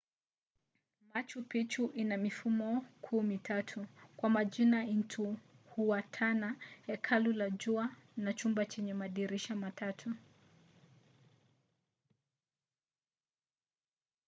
machu picchu ina mifumo kuu mitatu kwa majina intihuatana hekalu la jua na chumba chenye madirisha matatu